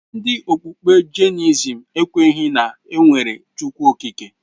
Ndị okpukpe Jainisim ekwenyeghi na enwere Chukwu Okike.